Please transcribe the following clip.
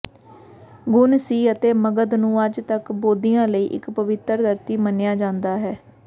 ਗੁਣ ਸੀ ਅਤੇ ਮਗਧ ਨੂੰ ਅੱਜ ਤੱਕ ਬੋਧੀਆਂ ਲਈ ਇੱਕ ਪਵਿੱਤਰ ਧਰਤੀ ਮੰਨਿਆ ਜਾਂਦਾ ਹੈ